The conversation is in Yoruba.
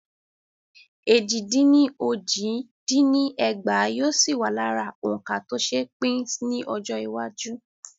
Éjì dín ní ójì dín ní ẹgbàá yóò sì wà lára òǹkà tó ṣe pín ni Ọjọ́ iwájú.